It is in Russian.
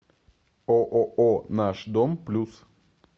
ооо наш дом плюс